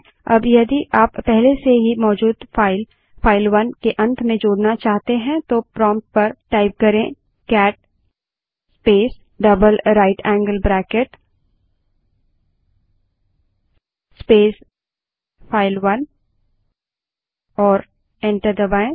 अब यदि आप पहले से मौजूद फाइलफाइल 1 के अंत में जोड़ना चाहते हैं तो प्रोंप्ट पर cat space double right angle bracket space file one type करें और एंटर दबायें